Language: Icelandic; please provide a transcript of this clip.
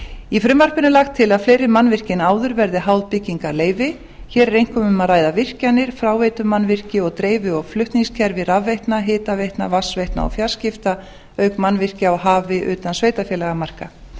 í frumvarpinu er lagt til að fleiri mannvirki en áður verði háð byggingarleyfi hér er einkum um að ræða virkjanir fráveitumannvirki og dreifi og flutningskerfi rafveitna hitaveitna vatnsveitna og fjarskipta auk mannvirkja á hafi utan sveitarfélagamarka